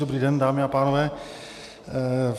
Dobrý den, dámy a pánové.